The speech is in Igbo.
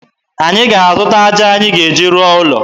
Anyị ga-eje zụta aja anyị ga-eji rụọ ụlọ